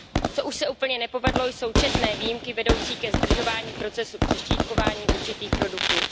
Co už se úplně nepovedlo, jsou četné výjimky vedoucí ke zdržování procesu přeštítkování určitých produktů.